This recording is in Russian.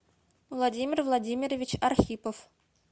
владимир владимирович архипов